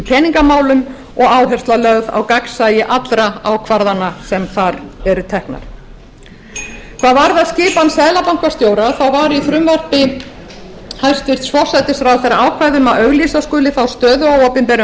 peningamálum og áhersla lögð á gagnsæi allra ákvarðana sem þar eru teknar hvað varðar skipan seðlabankastjórans þá var í frumvarpi hæstvirts forsætisráðherra ákvæði um að auglýsa skuli þá stöðu á opinberum